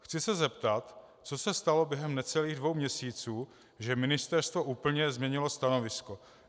Chci se zeptat, co se stalo během necelých dvou měsíců, že ministerstvo úplně změnilo stanovisko.